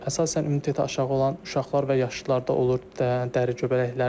Əsasən immuniteti aşağı olan uşaqlar və yaşlılarda olur dəri göbələkləri.